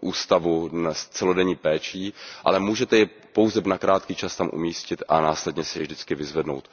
ústavu s celodenní péčí, ale můžete jej pouze na krátký čas tam umístit a následně si jej vždycky vyzvednout.